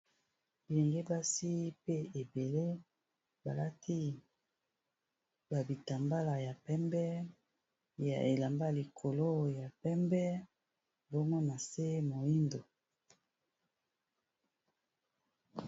Bilenge basi pe ebele balati ba bitambala ya pembe ya elamba likolo ya pembe mbongo na nse moyindo.